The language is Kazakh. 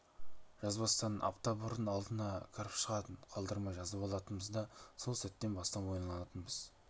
жазбастан апта бұрын алдына кіріп шығатын қалдырмай жазып алатынбыз да сол сәттен бастап ойланатынбыз